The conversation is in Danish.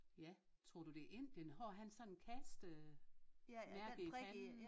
Ja tror du det er Indien har han sådan en kastemærke i panden